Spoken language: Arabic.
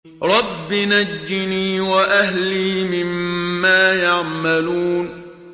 رَبِّ نَجِّنِي وَأَهْلِي مِمَّا يَعْمَلُونَ